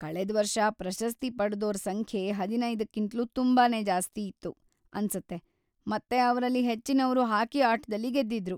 ಕಳೆದ್ವರ್ಷ ಪ್ರಶಸ್ತಿ ಪಡ್ದೋರ ಸಂಖ್ಯೆ ಹದಿನೈದಕ್ಕಿಂತ್ಲೂ ತುಂಬಾನೇ ಜಾಸ್ತಿ ಇತ್ತು ಅನ್ಸತ್ತೆ ಮತ್ತೆ ಅವ್ರಲ್ಲಿ ಹೆಚ್ಚಿನವ್ರು ಹಾಕಿ ಆಟದಲ್ಲಿ ಗೆದ್ದಿದ್ರು.